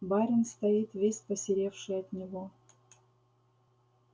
барин стоит весь посеревший от него